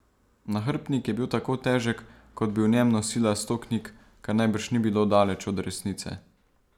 Nahrbtnik je bil tako težek, kot bi v njem nosila sto knjig, kar najbrž ni bilo daleč od resnice.